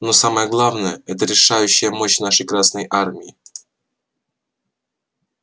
но самое главное это решающая мощь нашей красной армии